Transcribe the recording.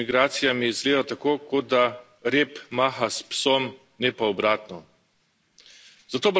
Upravljanje Evropske unije z migracijami zgleda tako, kot da rep maha s psom, ne pa obratno.